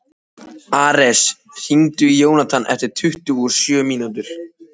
Ares, hringdu í Jónatan eftir tuttugu og sjö mínútur.